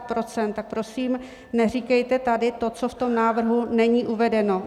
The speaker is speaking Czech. Tak prosím, neříkejte tady to, co v tom návrhu není uvedeno.